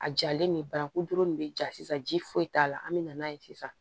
A jalen nin bananku dɔrɔn de be ja sisan ji foyi t'a la an mi na n'a ye sisan